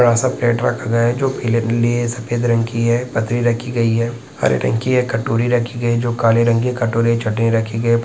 बड़ा सा प्लेट रखा गया है। जो पिले नी सफ़ेद रंग की है। पत्री रखी गई है। हरे रंग की है। कटोरी रखी गई है। जो काले रंग की कटोरे चटनी रखी गई है।